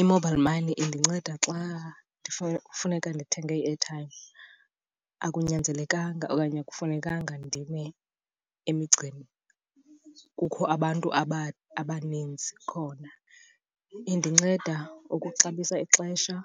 I-mobile money indinceda xa funeka ndithenge i-airtime. Akunyanzelekanga okanye akufunekanga ndime emigceni kukho abantu abaninzi khona. Indinceda ukuxabisa ixesha